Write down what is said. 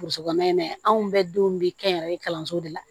Burusi kɔnɔna in na anw bɛɛ denw bɛ kɛnyɛrɛye kalanso de la